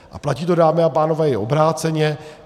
A platí to, dámy a pánové, i obráceně.